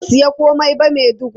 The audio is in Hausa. Ba zan sayi komai ba Maiduguri.